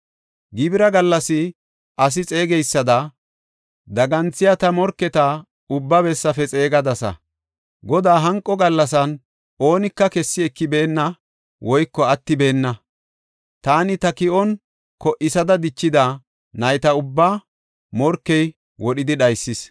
Gibira gallas ase xeegeysada, daganthiya ta morketa ubba bessafe xeegadasa. Godaa hanqo gallasan oonika kessi ekibeenna woyko attibeenna. Taani ta ki7on ko77isada dichida nayta ubbaa morkey wodhidi dhaysis.